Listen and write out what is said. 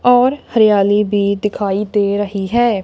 और हरियाली भी दिखाई दे रही है।